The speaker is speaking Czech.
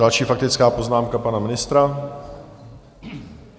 Další faktická poznámka pana ministra.